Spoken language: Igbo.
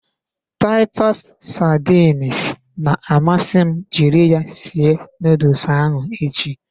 Titus sardines na-amasị m jiri ya sie nuduls ahụ echi.